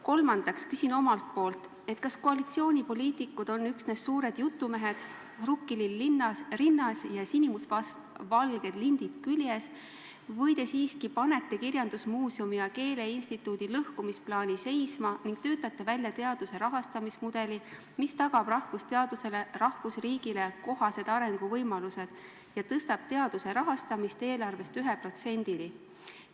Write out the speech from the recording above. " Kolmandaks küsin omalt poolt: kas koalitsioonipoliitikud on üksnes suured jutumehed, rukkilill rinnas ja sinimustvalged lindid küljes, või te siiski panete kirjandusmuuseumi ja keeleinstituudi lõhkumise plaani seisma ning töötate välja teaduse rahastamise mudeli, mis tagab rahvusteadusele rahvusriigis kohased arenguvõimalused ja tõstab teaduse rahastamise eelarvest ühe protsendini?